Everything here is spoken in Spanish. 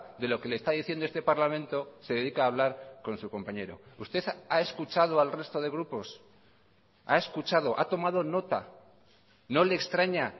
de lo que le está diciendo este parlamento se dedica a hablar con su compañero usted ha escuchado al resto de grupos ha escuchado ha tomado nota no le extraña